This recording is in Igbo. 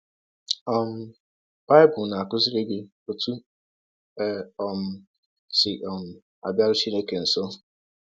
um Bible na - akụziri gị ọtụ e um si um abịarụ Chineke nsọ